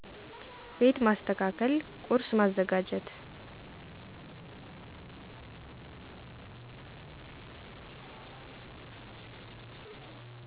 ቤት ማሰተካከል ቆርስ ማዘጋጀት